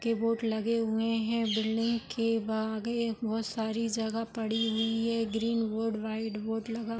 के बोर्ड लगे हुए है बिल्डिंग के बा आगे एक बहुत सारी जगह पड़ी हुई है ग्रीन बोर्ड वाइट बोर्ड लगा --